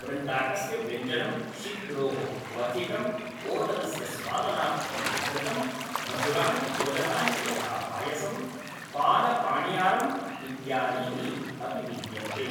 वृन्ताकस्य व्यञ्जनं, शिग्रोः क्वथितम्, ओदनस्य स्वादनार्थं घृतं, मधुराणि भोजनानि यथा पायसं, पालपणियारम् इत्यादीनि अपि विद्यन्ते।